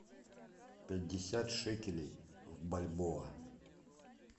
пятьдесят шекелей в бальбоа